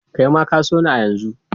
Kai ma ka so ni a yanzu!